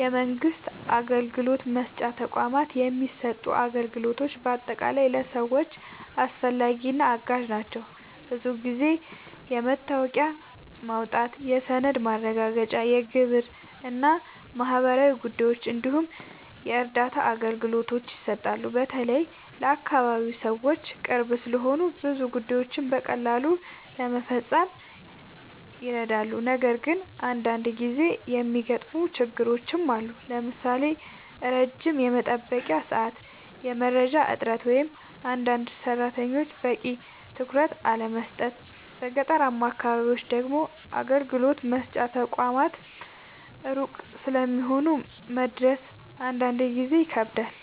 የመንግስት አገልግሎት መስጫ ተቋማት የሚሰጡ አገልግሎቶች በአጠቃላይ ለሰዎች አስፈላጊ እና አጋዥ ናቸው። ብዙ ጊዜ የመታወቂያ ማውጣት፣ የሰነድ ማረጋገጫ፣ የግብር እና ማህበራዊ ጉዳዮች እንዲሁም የእርዳታ አገልግሎቶች ይሰጣሉ። በተለይ ለአካባቢ ሰዎች ቅርብ ስለሆኑ ብዙ ጉዳዮችን በቀላሉ ለመፈጸም ይረዳሉ። ነገር ግን አንዳንድ ጊዜ የሚገጥሙ ችግሮችም አሉ፣ ለምሳሌ ረጅም የመጠበቂያ ሰዓት፣ የመረጃ እጥረት ወይም አንዳንድ ሰራተኞች በቂ ትኩረት አለመስጠት። በገጠራማ አካባቢዎች ደግሞ አገልግሎት መስጫ ተቋማት ሩቅ ስለሚሆኑ መድረስ አንዳንድ ጊዜ ይከብዳል።